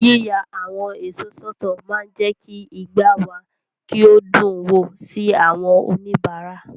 Yíya àwọn èso sọ́tọ̀ máa ń jẹ́ kí igbá wa kí o dùn wò sí àwọn oníbàárà.